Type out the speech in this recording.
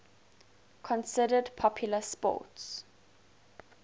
considered popular sports